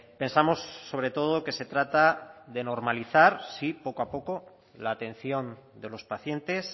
pensamos sobre todo que se trata de normalizar sí poco a poco la atención de los pacientes